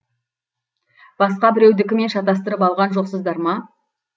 басқа біреудікімен шатыстырып алған жоқсыздар ма